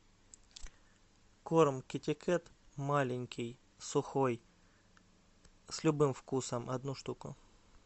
корм китикет маленький сухой с любым вкусом одну штуку